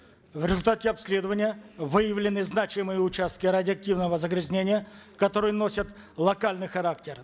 в результате обследования выявлены значимые участки радиоактивного загрязнения которые носят локальный характер